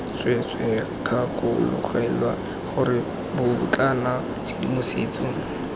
tsweetswee gakologelwa gore bobotlana tshedimosetso